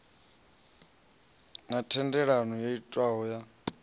na thendelano yo itwaho ya